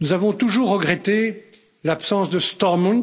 Nous avons toujours regretté l'absence de Stormont